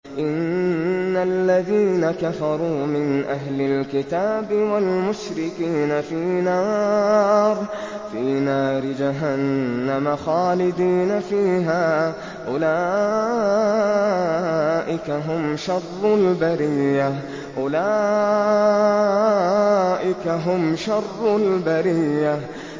إِنَّ الَّذِينَ كَفَرُوا مِنْ أَهْلِ الْكِتَابِ وَالْمُشْرِكِينَ فِي نَارِ جَهَنَّمَ خَالِدِينَ فِيهَا ۚ أُولَٰئِكَ هُمْ شَرُّ الْبَرِيَّةِ